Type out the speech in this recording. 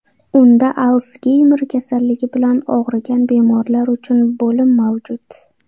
Unda Alsgeymer kasalligi bilan og‘rigan bemorlar uchun bo‘lim mavjud.